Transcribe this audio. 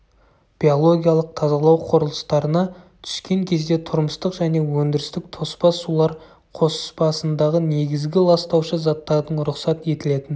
биологиялық тазалау құрылыстарына түскен кезде тұрмыстық және өндірістік тоспа сулар қоспасындағы негізгі ластаушы заттардың рұқсат етілетін